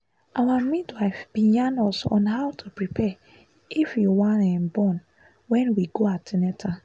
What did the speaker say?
our midwife bin yarn us on how to prepare if you wan um born wen we go an ten atal